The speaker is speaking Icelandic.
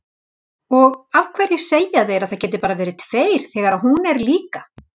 Og af hverju segja þeir að það geti bara verið tveir þegar hún er líka?